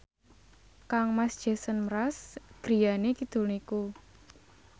kangmas Jason Mraz griyane kidul niku